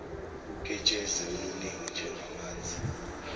uketshezi oluningi njengamanzi